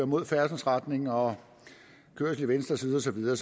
mod færdselsretningen og kørsel i venstre side og så videre